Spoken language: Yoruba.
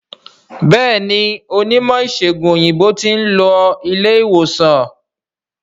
Béèni Onímò ìsègùn òyìnbó tin lo ilé ìwòsan